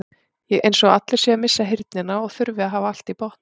Eins og allir séu að missa heyrnina og þurfi að hafa allt í botni.